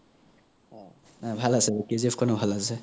ভাল আছে KGF খনো ভাল আছে চাই